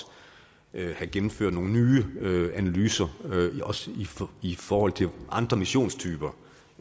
have gennemført nogle nye analyser også i forhold til andre missionstyper